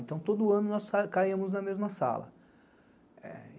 Então, todo ano nós caímos na mesma sala.